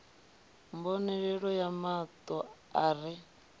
mbonalelo ya mato a re